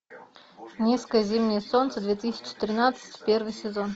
низкое зимнее солнце две тысячи тринадцать первый сезон